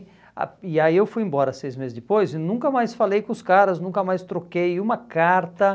ah E aí eu fui embora seis meses depois e nunca mais falei com os caras, nunca mais troquei uma carta.